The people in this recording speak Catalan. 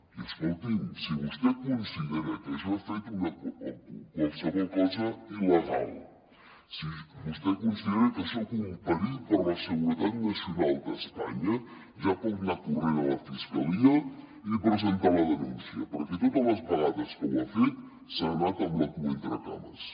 i escolti’m si vostè considera que jo he fet qualsevol cosa il·legal si vostè considera que soc un perill per a la seguretat nacional d’espanya ja pot anar corrent a la fiscalia i presentar la denúncia perquè totes les vegades que ho ha fet se n’ha anat amb la cua entre les cames